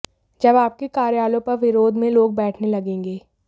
जब आपके कार्यालयों पर विरोध में लोग बैठने लगेंगे